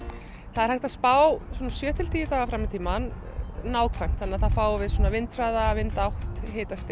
það er hægt að spá svona sjö til tíu daga fram í tímann nákvæmt þá fáum við vindhraða vindátt